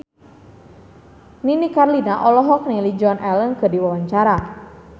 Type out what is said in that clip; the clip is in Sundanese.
Nini Carlina olohok ningali Joan Allen keur diwawancara